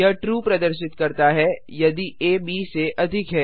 यह ट्रू प्रदर्शित करता है यदि आ ब से अधिक है